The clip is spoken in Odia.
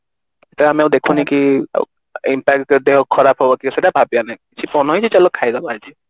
ଆମେ ଆଉ ଦେଖୁନେ କି ଦେହ ଖରାପ ହବ କି ସେଇଟା ଭାବିବାର ନାଇଁ ଆଜି ମନ ହେଇଛି ତ ଚାଲ ଖାଇଦବା ଆଜି